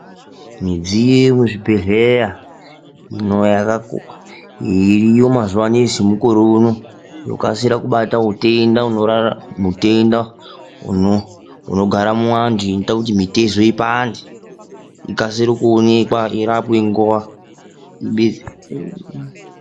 Midziyo yekuzvibhedhlera iriyo mazuva ano emukore unokasira kubata mitenda inogara muvantu inoita kuti mitezo ipande ikasire kuonekwa irapwe nguwa i.